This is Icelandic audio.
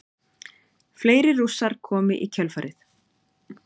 Fleiri Rússar komu í kjölfarið.